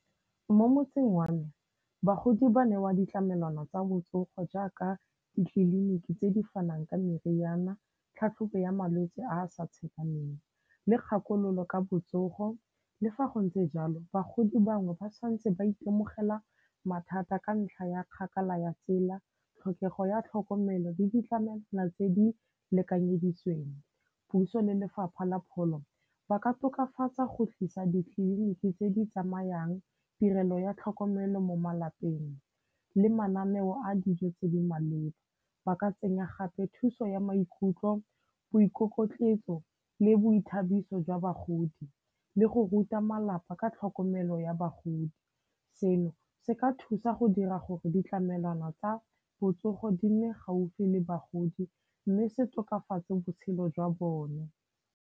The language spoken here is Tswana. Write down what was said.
Mo motseng wa me, bagodi ba newa ditlamelwana tsa botsogo jaaka ditleliniki tse di fanang ka meriana, tlhatlhobo ya malwetse a a sa tshepameng le kgakololo ka botsogo. Le fa go ntse jalo, bagodi bangwe ba santse ba itemogela mathata ka ntlha ya kgakala ya tsela, tlhokego ya tlhokomelo le ditlamelwana tse di lekanyeditsweng. Puso le Lefapha la Pholo, ba ka tokafatsa go tlisa ditleliniki tse di tsamayang, tirelo ya tlhokomelo mo malapeng le mananeo a dijo tse di maleba. Ba ka tsenya gape thuso ya maikutlo, boikokotletso le boithabiso jwa bagodi le go ruta malapa ka tlhokomelo ya bagodi. Seno se ka thusa go dira gore ditlamelwana tsa botsogo di nne gaufi le bagodi mme se tokafatse botshelo jwa bone.